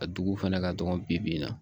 A duguw fana ka dɔgɔ bibi in na